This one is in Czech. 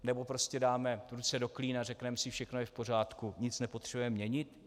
Nebo prostě dáme ruce do klína a řekneme si: všechno je v pořádku, nic nepotřebujeme měnit?